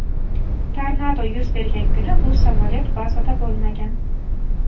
Tornado yuz bergan kuni bu samolyot bazada bo‘lmagan.